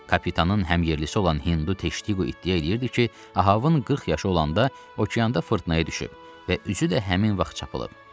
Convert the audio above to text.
Kapitanın həmyərlisi olan Hindu Teştiqo iddia eləyirdi ki, Ahavın 40 yaşı olanda okeanda fırtınaya düşüb və üzü də həmin vaxt çapılıb.